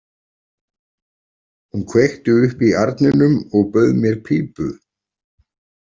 Hún kveikti upp í arninum og bauð mér pípu.